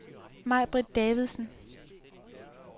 Majbritt Davidsen